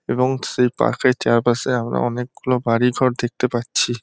এবং সেই পার্ক -এর চারপাশে আমরা অনেকগুলো বাড়িঘর দেখতে পাচ্ছি।